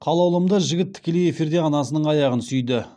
қалаулымды жігіт тікелей эфирде анасының аяғын сүйді